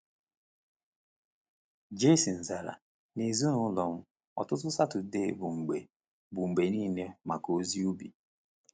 Jayson zara: “N’ezinụlọ m, ụtụtụ Satọdee bụ mgbe bụ mgbe niile maka ozi ubi.”